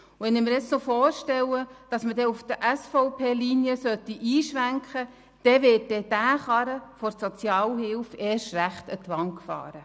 Wenn ich mir vorstelle, dass auf die Linie der SVP eingeschwenkt wird, dann wird der Karren der Sozialhilfe tatsächlich an die Wand gefahren.